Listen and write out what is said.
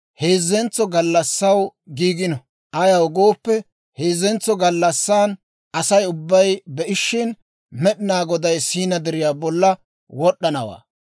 heezzentso gallassaw giigino. Ayaw gooppe, heezzentso gallassan Asay ubbay be'ishin, Med'inaa Goday Siina Deriyaa bollan wod'd'anawaa.